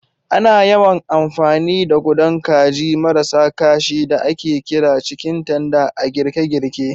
Ana yawan amfani da gudan kajin marasa ƙashi da ake kira "cikin tender" a girke-girke.